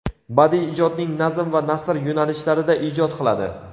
badiiy ijodning nazm va nasr yo‘nalishlarida ijod qiladi.